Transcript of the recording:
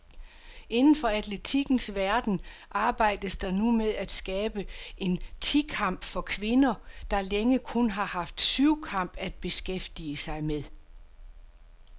Inden for atletikkens verden arbejdes der nu med at skabe en ti kamp for kvinder, der længe kun har haft syvkamp at beskæftige med.